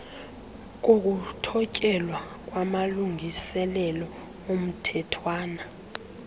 kokuthotyelwa kwamalungiselelo omthethwana